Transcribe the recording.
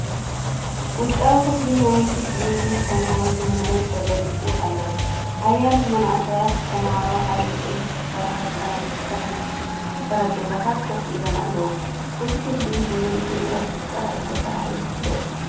ውሽጣዊ ክፍሊ ናይቲ ክፍሊ ምስ ተማሃሮን መምህርን ተገሊጹ ኣሎ። ሓያሎ መንእሰያት ተማሃሮ ኣብ ዕንጨይቲ ዝተሰርሐ ጠረጴዛታት ኮፍ ኢሎም ኣለዉ። እቲ ክፍሊ ብዘድሊ ንብረት ጥራይ ዝተሰርሐ ይመስል።